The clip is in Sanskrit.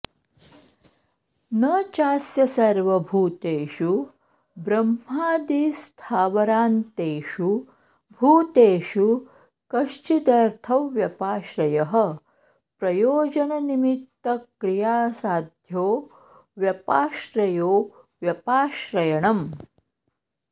न चास्य सर्वभूतेषु ब्रह्मादिस्थावरान्तेषु भूतेषु कश्चिदर्थव्यपाश्रयः प्रयोजननिमित्तक्रियासाध्यो व्यापाश्रयो व्यपाश्रयणम्